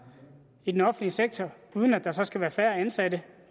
i den offentlige sektor uden at der så skal være færre ansatte